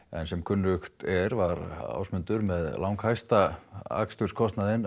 en sem kunnugt er var hann með langhæsta aksturskostnað